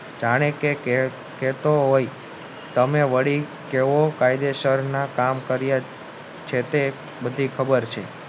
જાણે કે તે કહેતો હોય તમે વળી કેવા કાયદેસરના કામ કર્યા છે તે બધી ખબર છે